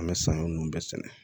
An bɛ saɲɔ ninnu bɛɛ sɛnɛ